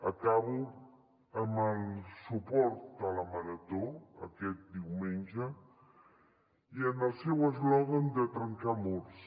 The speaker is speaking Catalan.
acabo amb el suport a la marató aquest diumenge i al seu eslògan de trencar murs